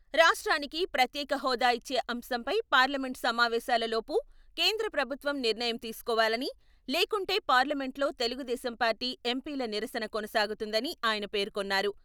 రాష్ట్రానికి ప్రత్యేక హోదా ఇచ్చే అంశంపై పార్లమెంట్ సమావేశాలు లోపు కేంద్ర ప్రభుత్వం నిర్ణయం తీసుకోవాలని, లేకుంటే పార్లమెంట్లో తెలుగుదేశం పార్టీ ఎంపీల నిరసన కొనసాగుతుందని ఆయన పేర్కొన్నారు.